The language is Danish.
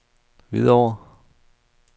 Hvidovre